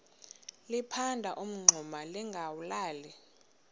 liphanda umngxuma lingawulali